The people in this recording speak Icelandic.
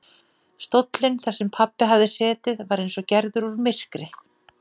Stóllinn þar sem pabbi hafði setið var eins og gerður úr myrkri.